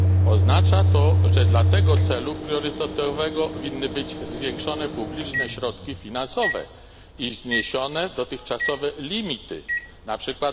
Oznacza to, że dla tego celu priorytetowego winny być zwiększone publiczne środki finansowe i zniesione dotychczasowe limity, np.